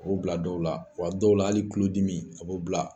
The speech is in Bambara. bila dɔw la wa dɔw la hali kulo dimi a b'o bila.